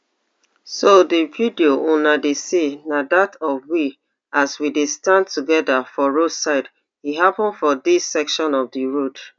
so di video una dey see na dat of we as we dey stand together for roadside e happun for dis section of di road